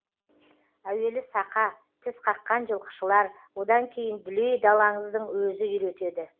әуелі сақа тісқаққан жылқышылар одан кейін дүлей далаңыздың өзі үйретеді